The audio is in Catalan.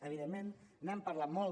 evidentment n’hem parlat molt